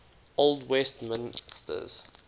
old westminsters